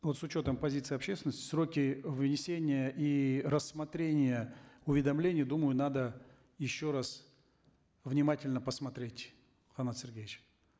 вот с учетом позиции общественности сроки вынесения и рассмотрения уведомления думаю надо еще раз внимательно посмотреть канат сергеевич